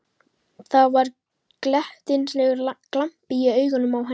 Það var glettnislegur glampi í augunum á henni.